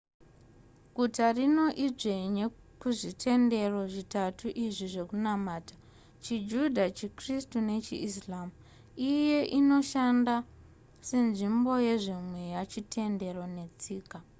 guta rino idzvene kuzvitendero zvitatu izvi zvekunamata chijudha chikristu nechiislam iye inoshanda senzimbo yezvemeya chitendero netsika